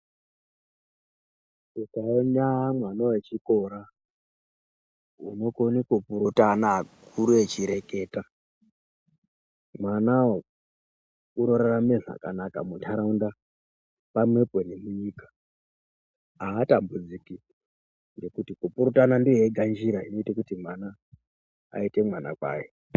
Ukaona mwana we chikora unokone ku kurutana akuru echi reketa mwanawo uno rarama zvakanaka mu ndaraunda pamwepo ne munyika aaha tambudziki nekuti ku kurutana ndiyo yega njira inoite kuti mwana ayite mwana kwaye.